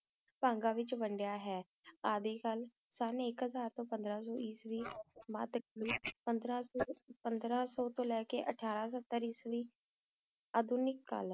ਆਦਿ ਕਲ ਸਨ ਐਕ ਹਜ਼ਾਰ ਤੋਂ ਪੰਦਰਾਂ ਸੋ ਈਸਵੀ ਤਕ ਤੇ ਪੰਦਰਾਂ ਸੋ ਤੋਂ ਲਈ ਕ ਉਥਰਾਸੋਸਟਰ ਜਵੈਣ ਅਦਨਿਕਲ ਜ਼ੀਰੋ